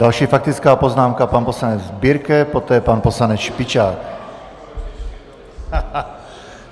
Další faktická poznámka - pan poslanec Birke, poté pan poslanec Špičák.